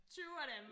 20 af dem